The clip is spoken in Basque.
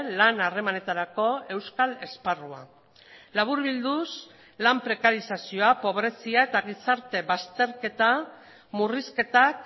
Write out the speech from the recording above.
lan harremanetarako euskal esparrua laburbilduz lan prekarizazioa pobrezia eta gizarte bazterketa murrizketak